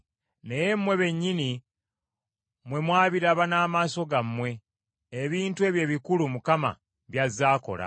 Naye mmwe bennyini mwe mwabiraba n’amaaso gammwe, ebintu ebyo ebikulu Mukama by’azze akola.